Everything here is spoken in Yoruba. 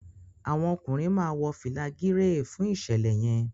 àwọn ọkùnrin má wọ fìlà Gírèè fún iṣẹlẹ yen